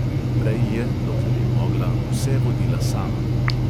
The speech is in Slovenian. Prej je, dokler je mogla, vse vodila sama.